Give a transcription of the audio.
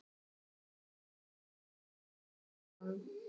Það er alltaf von.